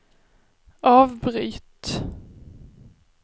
avbryt